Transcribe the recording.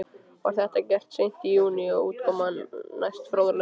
Var þetta gert seint í júní og útkoman næsta fróðleg.